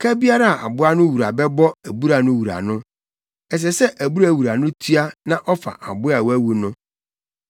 ka biara a aboa no wura bɛbɔ abura no wura no, ɛsɛ sɛ abura wura no tua na ɔfa aboa a wawu no.